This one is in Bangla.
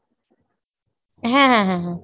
হ্যাঁ হ্যাঁ হ্যাঁ হ্যাঁ।